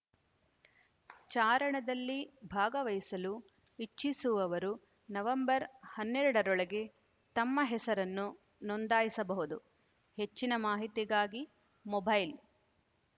ಚಾರಣದಲ್ಲಿ ಭಾಗವಹಿಸಲು ಇಚ್ಛಿಸುವವರು ನವೆಂಬರ್ ಹನ್ನೆರಡರೊಳಗೆ ತಮ್ಮ ಹೆಸರನ್ನು ನೋಂದಾಯಿಸಬಹುದು ಹೆಚ್ಚಿನ ಮಾಹಿತಿಗಾಗಿ ಮೊಬೈಲ್‌